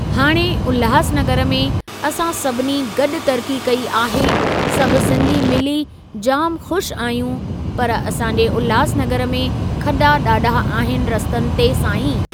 हाणे उल्हासनगर में असां सभिनी गॾु तरक़ी कई आहे सभु सिंधी मिली जामु ख़ुश आहियूं पर असां जे उल्हासनगर में खॾा ॾाढा आहिनि रस्तनि ते साईं।